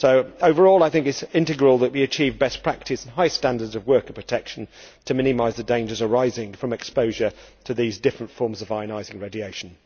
Overall, I think it is crucial that we achieve best practice and high standards of work and protection to minimise the dangers arising from exposure to these different forms of ionising radiation.